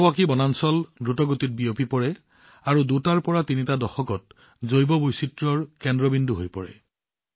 Miyawaki বনাঞ্চল দ্ৰুতগতিত প্ৰসাৰিত হৈছে আৰু দুটাৰ পৰা তিনিটা দশকত জৈৱ বৈচিত্ৰ্যৰ কেন্দ্ৰবিন্দু হৈ পৰে